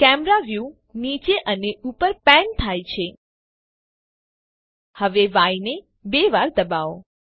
camera view નીચે અને ઉપર પેન થાય છે હવે ય ને બે વાર દબાવો